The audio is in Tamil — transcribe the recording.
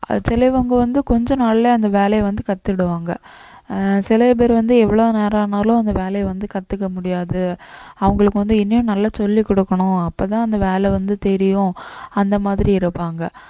சிலவங்க வந்து கொஞ்ச நாள்ல அந்த வேலையை வந்து கத்துக்கிடுவாங்க ஆஹ் சில பேர் வந்து எவ்வளவு நேரம் ஆனாலும் அந்த வேலையை வந்து கத்துக்க முடியாது அவங்களுக்கு வந்து இன்னும் நல்லா சொல்லிக் கொடுக்கணும் அப்பதான் அந்த வேலை வந்து தெரியும் அந்த மாதிரி இருப்பாங்க